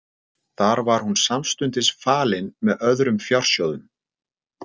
Þar var hún samstundis falin með öðrum fjársjóðum.